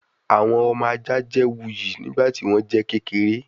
Awọn ọmọ aja jẹ wuyi nigbati wọn jẹ kekere